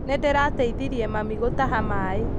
Nĩndĩrateithirie mami gũtaha maĩ